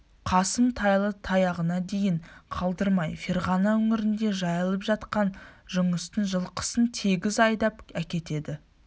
қасым тайлы-таяғына дейін қалдырмай ферғана өңірінде жайылып жатқан жұныстың жылқысын тегіс айдап әкетеді